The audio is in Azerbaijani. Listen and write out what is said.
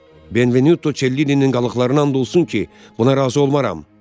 Benvenuto Cellininin qalıqlarına and olsun ki, buna razı olmaram.